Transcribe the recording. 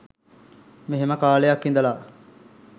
මෙහෙම කාලයක් ඉඳලා